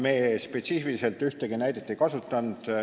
Me ei kasutanud spetsiifiliselt ühtegi näidet.